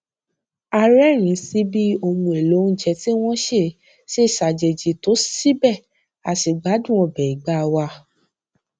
a rérìnín sí bí ohun èlò oúnje tí wón sè ṣe ṣàjèjì tó síbè a ṣì gbádùn ọbẹ ìgbá wa